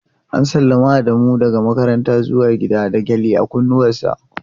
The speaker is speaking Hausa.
​​An sallami Adamu zuwa gida daga makaranta da gyale a kunnensa.